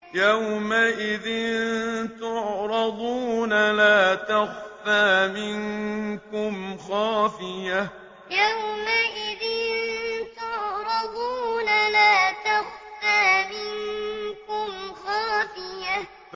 يَوْمَئِذٍ تُعْرَضُونَ لَا تَخْفَىٰ مِنكُمْ خَافِيَةٌ يَوْمَئِذٍ تُعْرَضُونَ لَا تَخْفَىٰ مِنكُمْ خَافِيَةٌ